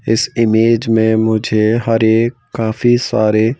इस इमेज में मुझे हरे काफी सारे--